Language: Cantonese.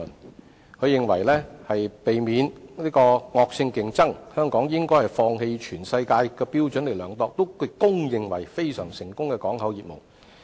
譚局長認為為了避免惡性競爭，香港應放棄按世界標準獲公認為非常成功的港口業務。